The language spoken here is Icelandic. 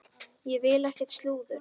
Ég vil ekkert slúður.